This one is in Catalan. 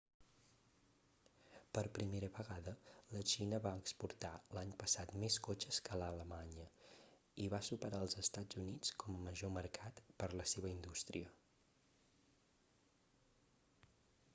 per primera vegada la xina va exportar l'any passat més cotxes que alemanya i va superar els estats units com a major mercat per la seva indústria